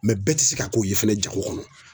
Mɛ bɛɛ te se ka k'o ye fɛnɛ jago kɔnɔ